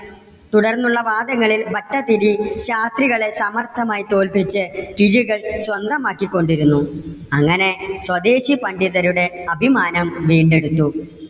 തുടർന്നുള്ള വാദങ്ങളിൽ ഭട്ടതിരി ശാസ്ത്രികളെ സമർത്ഥമായി തോൽപിച്ച് കിഴികൾ സ്വന്തമാക്കികൊണ്ടിരുന്നു. അങ്ങനെ സ്വദേശി പണ്ഡിതരുടെ അഭിമാനം വീണ്ടെടുത്തു.